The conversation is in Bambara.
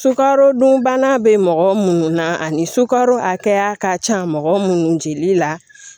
Sukaro dunbana bɛ mɔgɔ minnu na ani sukaro hakɛya ka ca mɔgɔ minnu jigili la